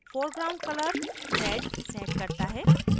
foreground color red red करता है